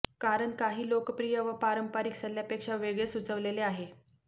कारण काही लोकप्रिय व पारंपरिक सल्ल्यापेक्षा वेगळे सुचवलेले आहे